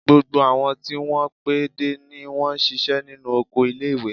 Gbogbo àwọn tí wọn pé dé ni wọ́n ṣíṣe nínú oko ilé-ìwé.